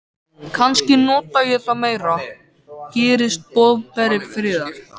Kannski nota ég það meira, gerist boðberi friðar.